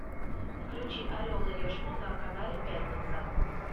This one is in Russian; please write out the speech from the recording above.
включи орел и решку на канале пятница